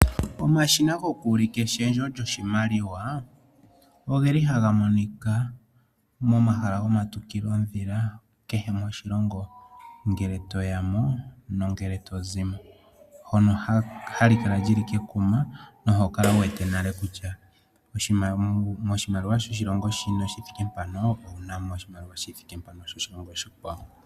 Omashina gokuulika eshendjo lyoshimaliwa ogeli haga monika momahala gomatukilondhila kehe moshilongo ngele toya mo nongele to zi mo hono hali kala li li kekuma noho kala wu wete nale kutya moshimaliwa shoshilongo shono shithike mpano owuna mo oshimaliwa shi thike mpano shoshilongo oshikwawo.